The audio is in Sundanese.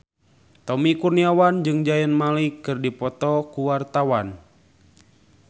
Tommy Kurniawan jeung Zayn Malik keur dipoto ku wartawan